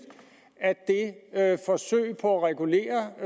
at det forsøg på at regulere